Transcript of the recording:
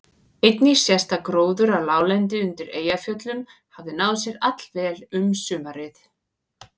Einnig sést að gróður á láglendi undir Eyjafjöllum hafði náð sér allvel um sumarið.